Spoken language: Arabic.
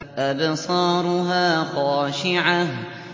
أَبْصَارُهَا خَاشِعَةٌ